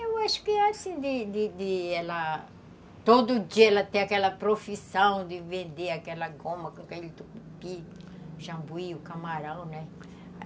Eu acho que é assim, de de de ela... Todo dia ela tem aquela profissão de vender aquela goma, aquele tucupi, o jambuí, o camarão, né?